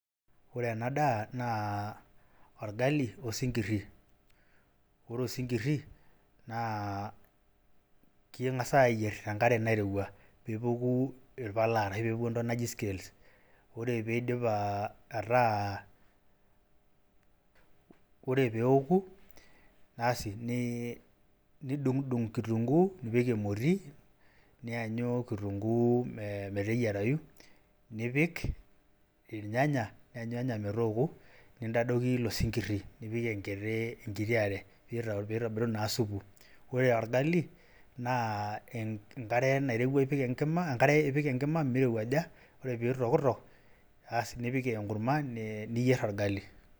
ore ena daa naa orgali osinkirri ore osinkirri naa king'asa ayierr tenkare nairewua peepuku irpala arashu pepuku entoki naji scales ore piidip ataaore peoku asi nidung'udung kitunguu nipik emoti nianyu kitunguu meteyiarayu nipik ilnyanya nianyu ilnyanya metooku nintadoki ilo sinkirri nipik enkiti are pitobiru naa supu ore orgali naa enkare nairewua ipik enkima enkare, enkare ipik enkima mirewuaja ore pitokitok aasi nipik enkurma niyierr orgali.